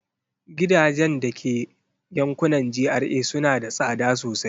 Gidajen da ke yankunan GRA suna da tsada sosai.